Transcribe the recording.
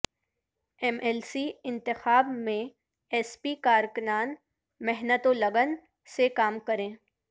M L C انتخاب میں S P کارکنان محنت و لگن سے کام کریں